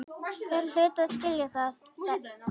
Þeir hlutu að skilja það.